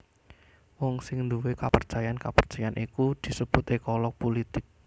Wong sing nduwé kapercayan kapercayan iku disebut ékolog pulitik